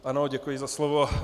Ano, děkuji za slovo.